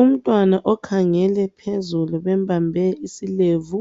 Umntwana okhangele phezulu, bembambe isilevu.